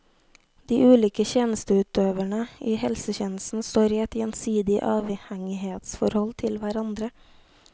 De ulike tjenesteutøvere i helsetjenesten står i et gjensidig avhengighetsforhold til hverandre.